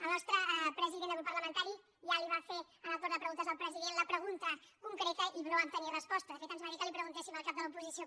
el nostre president de grup parlamentari ja li va fer en el torn de preguntes al president la pregunta concreta i no vam tenir resposta de fet ens va dir que li ho preguntéssim al cap de l’oposició